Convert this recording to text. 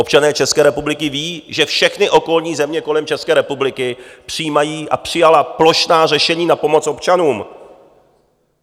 Občané České republiky vědí, že všechny okolní země kolem České republiky přijímají a přijaly plošná řešení na pomoc občanům.